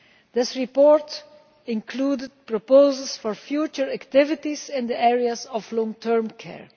This report included proposals for future activities in the areas of long term care.